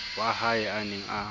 wa hae a neng a